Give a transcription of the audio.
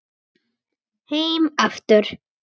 Heim aftur